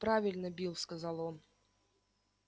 правильно билл сказал он